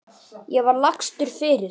Ég var lagstur fyrir.